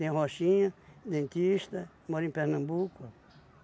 Tem o Rochinha, dentista, mora em Pernambuco.